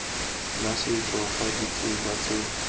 la setso fa ditsela tse